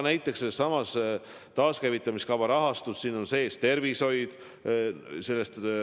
Sellesama taaskäivitamiskava rahastuses on sees ka tervishoid.